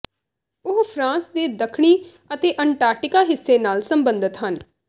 ਉਹ ਫਰਾਂਸ ਦੇ ਦੱਖਣੀ ਅਤੇ ਅੰਟਾਰਕਟਿਕਾ ਹਿੱਸੇ ਨਾਲ ਸਬੰਧਤ ਹਨ